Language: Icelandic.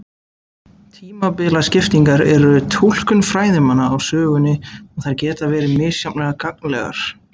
Tímabilaskiptingar eru túlkun fræðimanna á sögunni og þær geta verið misjafnlega gagnlegar.